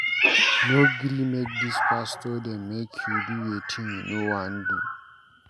No gree make dis pastor dem make you do wetin you no wan do.